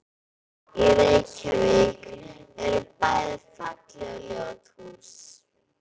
Í Reykjavík eru bæði falleg og ljót hús.